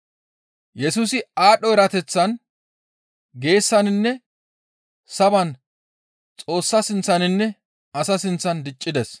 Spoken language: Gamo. Yesusi aadho erateththan, geesaninne saban Xoossa sinththaninne asa sinththan diccides.